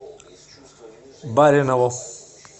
баринову